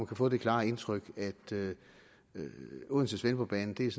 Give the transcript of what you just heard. kan få det klare indtryk at odense svendborg banen er